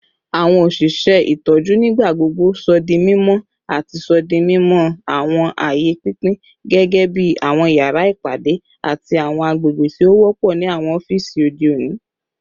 Awọn oṣiṣẹ itọju nigbagbogbo sọ di mimọ ati sọ di mimọ awọn aaye pinpin gẹgẹbi awọn yara ipade ati awọn agbegbe ti o wọpọ ni awọn ọfiisi ode oni